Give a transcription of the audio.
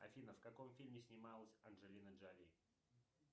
афина в каком фильме снималась анджелина джоли